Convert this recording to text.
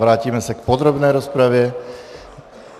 Vrátíme se k podrobné rozpravě.